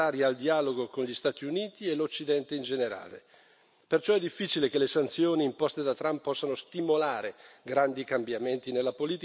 Perciò è difficile che le sanzioni imposte da Trump possano stimolare grandi cambiamenti nella politica iraniana, se non in peggio anche per i diritti umani.